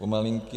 Pomalinky.